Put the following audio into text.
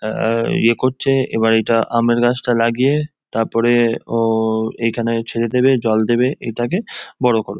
আ- আ- ইয়ে করছে এবার এটা আমের গাছটা লাগিয়ে তারপরেএএ ওওও এইখানে ছেড়ে দেবে জল দেবে এইটাকে বড়ো করবে।